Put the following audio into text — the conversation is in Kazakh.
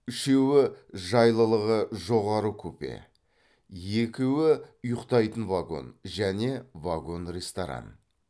үшеуі жайлылығы жоғары купе екеуі ұйықтайтын вагон және вагон ресторан